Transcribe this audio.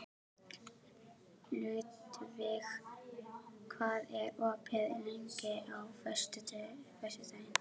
Ludvig, hvað er opið lengi á föstudaginn?